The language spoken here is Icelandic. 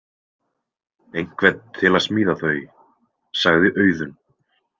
Einhvern til að smíða þau, sagði Auðunn.